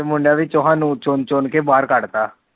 ਤੇ ਮੁਡਿਆ ਵਿਚੋ ਸਾਨੂੰ ਚੁਣ ਚੁਣ ਕੇ ਬਾਹਰ ਕੱਡ ਤਾ